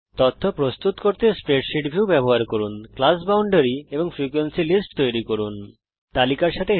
তথ্য প্রস্তুত করার জন্যে স্প্রেডশীট ভিউ এর ব্যবহার করুন ক্লাস বাউন্ডারি বর্গ সীমা এবং ফ্রিকোয়েন্সি লিস্টস ফ্রিকোয়েন্সি তালিকা তৈরী করুন